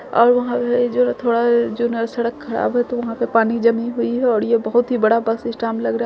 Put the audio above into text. और वहाँ पे जो न थोड़ा जो न सड़क खराब है तो वहाँ पे पानी जमी हुई है और ये बहुत बड़ा बस स्टैंड लग रहा है।